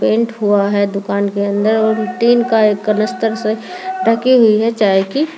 paint हुआ है दुकान के अंदर और टीन का एक कनस्तर से ढकी हुई है चाय की--